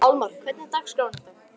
Pálmar, hvernig er dagskráin í dag?